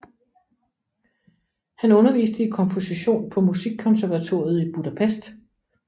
Han underviste i komposition på Musikkonservatoriet i Budapest